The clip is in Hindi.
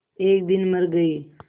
एक दिन मर गई